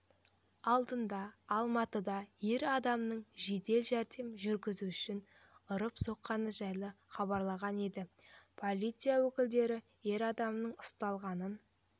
алдындаалматыда ер адамның жедел жәрдем жүргізушісін ұрып-соққаны жайлы хабарланған еді полиция өкілдері ер адамның ұсталғанын